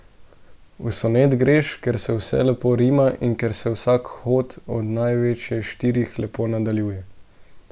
V Sonet greš, ker se vse lepo rima in ker se vsak hod, od največ štirih, lepo nadaljuje.